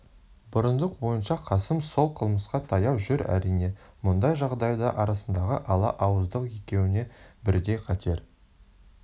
бұрындық ойынша қасым сол қылмысқа таяу жүр әрине мұндай жағдайда арасындағы ала ауыздық екеуіне бірдей қатер